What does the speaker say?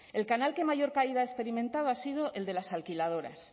el canal que mayor caída ha experimentado ha sido el de las alquiladoras